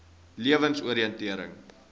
lewensoriëntering